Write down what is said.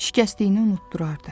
Şikəstliyini unutdurardı.